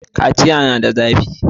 Kaciya na da zafi